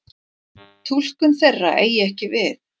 Túlkun þeirra eigi ekki við.